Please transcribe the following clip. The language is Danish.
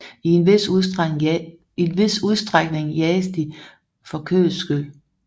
I en vis udstrækning jages de for kødets skyld